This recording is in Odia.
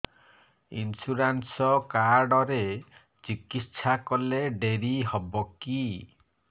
ଇନ୍ସୁରାନ୍ସ କାର୍ଡ ରେ ଚିକିତ୍ସା କଲେ ଡେରି ହବକି